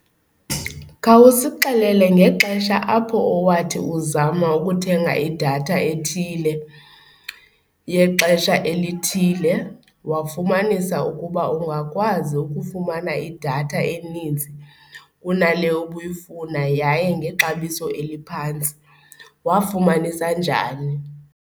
Khawusixelele ngexesha apho owathi uzama ukuthenga idatha ethile yexesha elithile wafumanisa ukuba ungakwazi ukufumana idatha eninzi kunale ubuyifuna yaye ngexabiso eliphantsi. Wafumanisa njani?